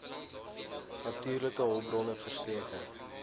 natuurlike hulpbronne verseker